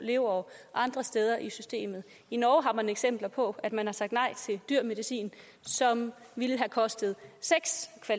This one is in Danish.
leveår andre steder i systemet i norge har man eksempler på at man har sagt nej til dyr medicin som ville have kostet